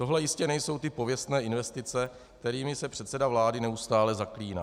Tohle jistě nejsou ty pověstné investice, kterými se předseda vlády neustále zaklíná.